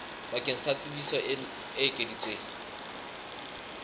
bakeng sa tsebiso e ekeditsweng